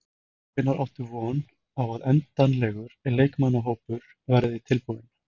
Hvenær áttu von á að endanlegur leikmannahópur verði tilbúinn?